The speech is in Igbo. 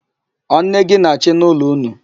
Ọ nne gị na-achị n'ụlọ ụnụ?